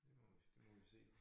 Det må vi det må vi se